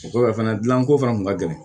O kɔfɛ fana dilanko fana kun ka gɛlɛn